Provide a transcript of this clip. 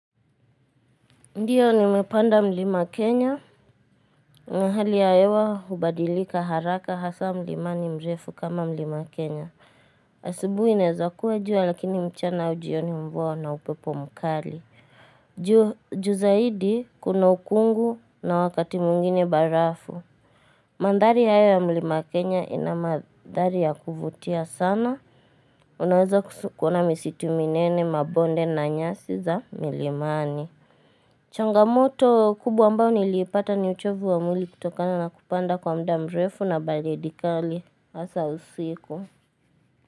Ndiyo ni nimepanda mlima Kenya, na hali yaewa hubadilika haraka hasa mlima ni mrefu kama mlima Kenya. Asibuhi inezakua jua lakini mchana au jioni mvua na upepo mkali. Juu zaidi kuna ukungu na wakati mwngine barafu. Mandhari yayo ya mlima Kenya ina mandhari ya kuvutia sana. Unaweza kusu kouna misitu minene mabonde na nyasi za milimani. Changamoto kubwa ambao nilipata ni uchovu wa mwili kutokana na kupanda kwa muda mrefu na baridi kali hasa usiku.